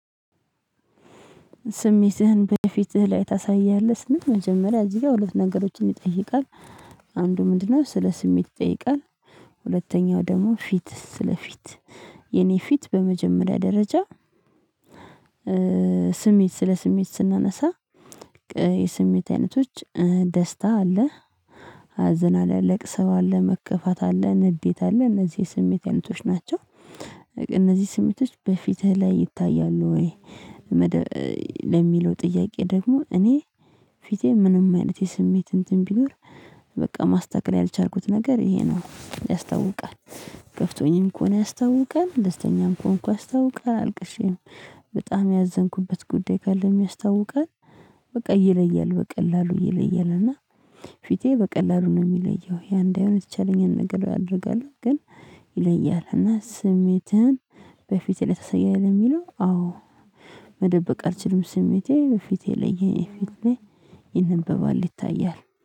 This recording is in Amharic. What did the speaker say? ስሜትህን በፊትህ ላይ ታሳያለህ ስንል መጀመሪያ እዚህ ጋር ሁለት ነገሮችን ይጠይቃል። አንዱ ምንድነው ስለ ስሜት ይጠይቃል። ሁለተኛው ደግሞ ፊትስ ስለ ፊት። የኔ ፊት በመጀመሪያ ደረጃ። ስሜት ስለ ስሜት ስናነሳ የስሜት አይነቶች ደስታ አለ። አዘን አለ ለቅሶው አለ መከፋት አለ ንዴት አለ እነዚህ ስሜት አይነቶች ናቸው። እነዚህ ስሜቶች በፊትህ ላይ ይታያሉ ወይ? ለሚለው ጥያቄ ደግሞ እኔ ፊቴ ምንም አይነት የስሜት እንትን ቢኖር በቃ ማስተካከል ያልቻልኩት ነገር ይሄ ነው ያስታውቃል። ከፍቶኝም ከሆነ ያስታውቃል ደስተኛም ከሆንኩ ያስታውቃል አልቅሼም በጣም ያዘንኩበት ጉዳይ ካለም ያስታውቃል። በቃ ይለያል በቀላሉ ይለያልና። ፊቴ በቀላሉ ነው የሚለየው ያ እንዳይሆን የተቻለኝን ነገር አድርጋለሁ ግን። ይለያልና ስሜትህን በፊትህ ላይ ታሳያለህ የሚለው አዎ። መደበቅ አልችልም ስሜቴ በፊቴ ላይ የኔ ፊት ላይ ይነበባል ይታያል።